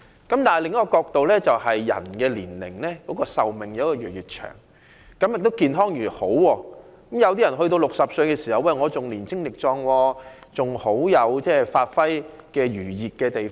但從另一角度來看，人們的壽命越來越長，亦越來越健康，有些人活到60歲仍很壯健，還有發揮餘熱的地方。